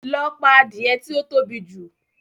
Lọ pa adìẹ tí ó tóbi jù!